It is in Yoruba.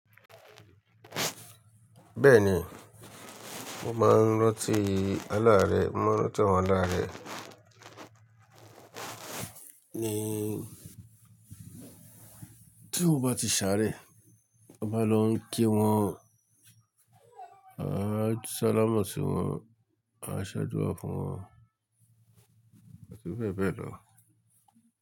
Bẹ́ẹ̀ni, mo máa ń rantí alá rẹ̀, mo máa ń ranti awọ̀n alá rẹ̀. Ni tí mo bá ti ṣáré, á maa n lọ ń kí wọn, a máa salámọ̀ sí wọn, a ṣadúra fún wọn àti bẹ́ẹ̀ bẹ́ẹ̀ lọ.